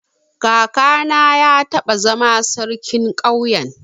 Kakana ya taba zama sarkin ƙauyen.